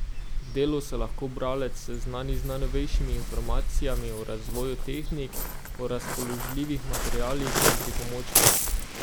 V delu se lahko bralec seznani z najnovejšimi informacijami o razvoju tehnik, o razpoložljivih materialih in pripomočkih.